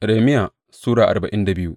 Irmiya Sura arba'in da biyu